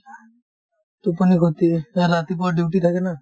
টোপনি খতি এহ্ এই ৰাতিপুৱা duty থাকে না